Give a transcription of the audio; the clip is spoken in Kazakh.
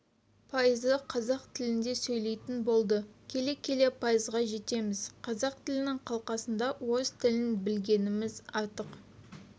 пайызы қазақ тілінде сөйлейтін болды келе-келе пайызға жетеміз қазақ тілдің қалқасында орыс тілін білгеніміз артық